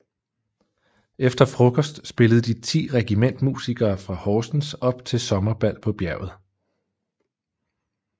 Efter frokost spillede de ti regimentsmusikere fra Horsens op til sommerbal på bjerget